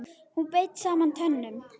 Hún beit saman tönnum.